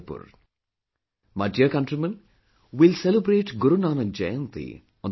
My dear countrymen, we'll celebrate Guru Nanak Jayanti on the 4th of November